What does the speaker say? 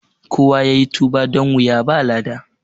Kowa yayi tuba don wuya ba lada